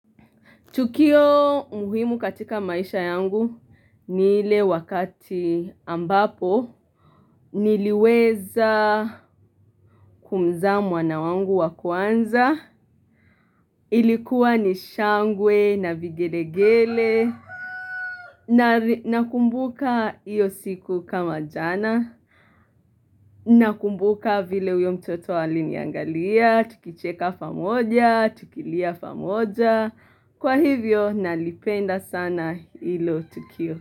Tukio muhimu katika maisha yangu ni ile wakati ambapo niliweza kumzaa mwana wangu wa kwanza. Ilikuwa ni shangwe na vigelegele. Na kumbuka iyo siku kama jana. Na kumbuka vile uyo mtoto alini angalia. Tukicheka pamoja, tukilia pamoja. Kwa hivyo nalipenda sana ilo tukio.